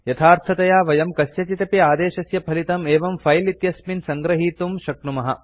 यथार्थतया वयं कस्यचिदपि आदेशस्य फलितं एवं फिले इत्यस्मिन् सङ्गृहीतुं शक्नुमः